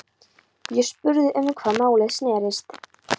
Ég spurði um hvað málið snerist.